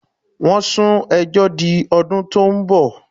Wọ́n sún ẹjọ́ di ọdún tó ń bọ̀.